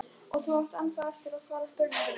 Og þú átt ennþá eftir að svara spurningu minni.